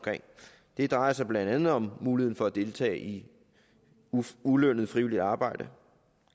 det drejer sig blandt andet om muligheden for at deltage i ulønnet frivilligt arbejde